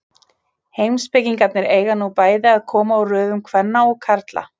Heimspekingarnir eiga nú bæði að koma úr röðum kvenna og karla.